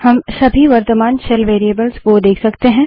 हम सभी वर्त्तमान शेल वेरिएबल्स को देख सकते हैं